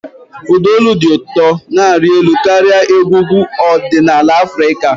Ụda olu dị ụtọ na-arị elu karịa egwu egwu ọdịnala Afrịka.